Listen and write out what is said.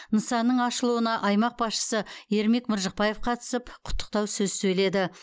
нысанның ашылуына аймақ басшысы ермек мыржықпаев қатысып құттықтау сөз сөйледі